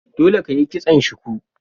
Dole ka yi kison shuku!